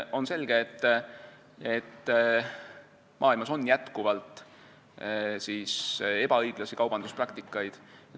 On selge, et maailmas on jätkuvalt ebaõiglasi kaubanduspraktikaid.